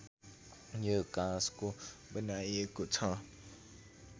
यो काँसको बनाइएको छ